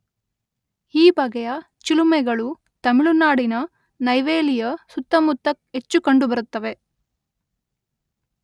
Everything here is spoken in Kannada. ಈ ಬಗೆಯ ಚಿಲುಮೆಗಳು ತಮಿಳುನಾಡಿನ ನೈವೇಲಿಯ ಸುತ್ತಮುತ್ತ ಹೆಚ್ಚು ಕಂಡುಬರುತ್ತದೆ.